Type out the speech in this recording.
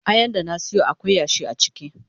Ayan da na siyo akwai yashi a ciki.